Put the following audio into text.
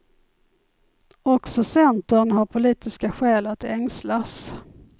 Också centern har politiska skäl att ängslas.